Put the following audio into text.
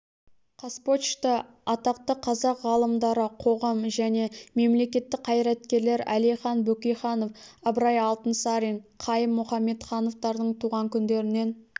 қазпочта атақты қазақ ғалымдары қоғам және мемлекеттік қайраткерлер әлихан бөкейханов ыбырай алтынсарин қайым мұхамедхановтардың туған күндерінен